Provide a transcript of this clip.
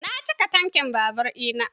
Na cika tankin babur na.